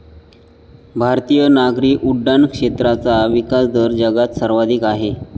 भारतीय नागरी उड्डाण क्षेत्राचा विकासदर जगात सर्वाधिक आहे.